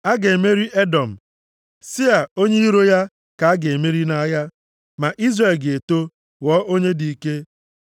A ga-emeri Edọm, + 24:18 Ndị Edọm si nʼagbụrụ Ịsọ. \+xt Jen 36:1-9\+xt* Sia, onye iro ya, ka a ga-emeri nʼagha. Ma Izrel ga-eto, ghọọ onye dị ike.